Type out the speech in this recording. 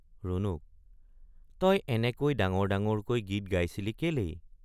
ৰুণুক—তই এনেকৈ ডাঙৰ ডাঙৰকৈ গীত গাইছিলি কেলেই।